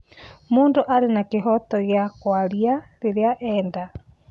Mũndũ arĩ na kĩhoto gĩa kũaria rĩrĩa enda